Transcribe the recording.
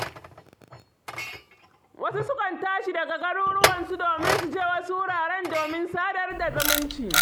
Wasu sukan tashi daga garuruwansu domin su je wasu wuraren domin sadar da zumunci.